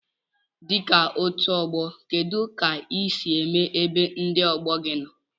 Dika otu ogbo kedu ka isi eme ebe ndi ogbogi nno?